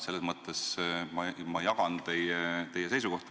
Selles mõttes ma jagan teie seisukohta.